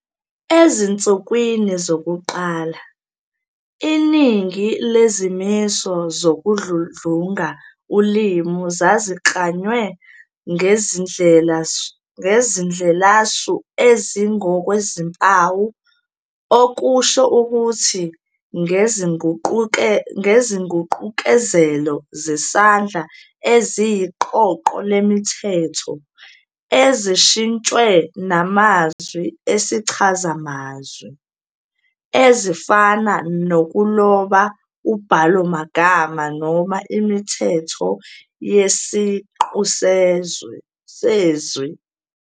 Ezinsukwini zokuqala, iningi lezimiso zokudludlunga ulimi zaziklanywe ngezindlelasu ezingokwezimpawu, okusho ukuthi, ngezinguqukezelo zesandla eziyiqoqoq lemithetho, ezintshiqwe namazwi esichazamazwi- ezifana nokuloba ubhalomagama noma imithetho yesiqu sezwi.